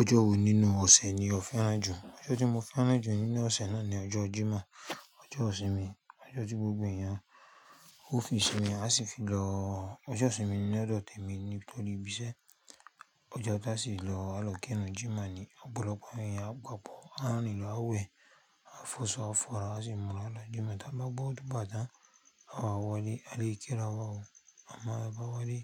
Ọjọ́ wo nínú ọ̀sẹ̀ ni o fẹ́ràn jù? Ọjọ́ tí mo fẹ́ràn jù nínú ọ̀sẹ̀ náà ni ọjọ́ Jímọ̀, ọjọ́ ìsinmi, ọjọ́ tí gbogbo èèyàn ó fi ìsinmi, a sì fi lọ. Ọjọ́ ìsinmi ni ódo temi nítorí ibí iṣẹ́ ọjọ́ ọ̀tá sì lọ, àlọ́ kẹ́rù Jímọ̀ ni ọ̀pọ̀lọpọ̀ èèyàn á gbàbọ̀, á rìn lọ, á wẹ̀, á fọṣọ, á fọ̀ra, á sì múra lọ Jímọ̀. Tí a bá gbọ́ tó bá dà, a máa wọlé, a lé ìkéra wá o. A máa bá wọlé,